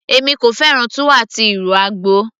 èmi kò fẹ́ràn túwó àti ìrù àgbò